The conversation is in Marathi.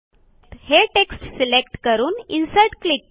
हे टेक्स्ट सिलेक्ट करून इन्सर्ट क्लिक करा